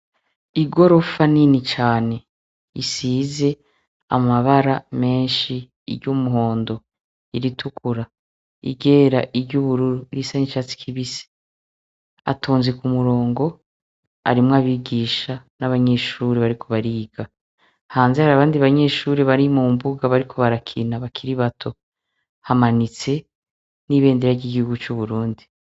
Igorofa nini cane, isize amabara benshi, iryo umuhondo, ir'itukura, i ryera, iry'ubururu rifise n'icatsi kibisi, atonze ku murongo harinimwo abigisha n'abanyeshure bariko bariga, Hanze hari abandi banyeshure bari mu mbuga bariko barakina bakiri bato, Hamanitse n'ibemdera ry'igihugu c'Uburundi.